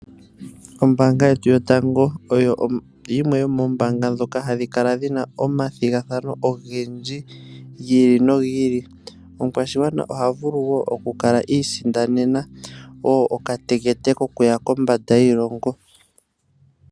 Ombanga yetu yotango oyo yimwe yomombanga dhetu hadhi kala dhina omathigathano ogendji gi ili nogi ili. Omukwashigwana oha vulu okukala iisindanena okatekete kokuya kondje yiilongo.